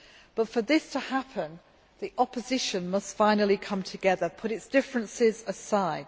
But for this to happen, the opposition must finally come together and put its differences aside.